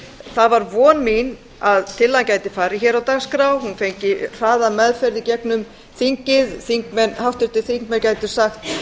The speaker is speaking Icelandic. það var von mín að tillagan gæti farið hér á dagskrá hún fengi hraða meðferð í gegnum þingið háttvirtir þingmenn gætu sagt